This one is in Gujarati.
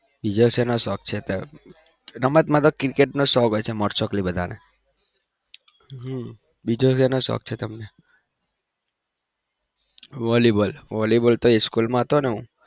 બીજો સેનો શોક છે તે? રમતમાં તો cricket નો શોખ હોય છે most oftenly બધાને હમ બીજો સેનો શોખ છે તમને volleyball નો Volleyball તો school માં હતો ને હું